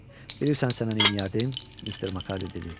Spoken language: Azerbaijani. Bilirsən sənə neyləyərdim, Mister Makardiy dedi.